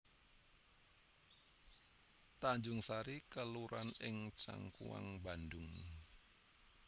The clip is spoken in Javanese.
Tanjungsari kelurahan ing Cangkuang Bandhung